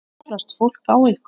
Ruglast fólk á ykkur?